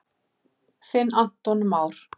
Þinn Aron Már.